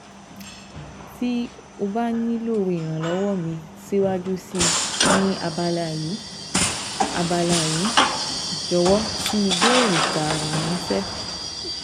Ti o ba nilo iranlọwọ mi siwaju sii ni abala yii, abala yii, Jọwọ fi ibeere taara ranṣẹ